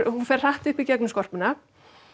hún fer hratt upp í gegnum skorpuna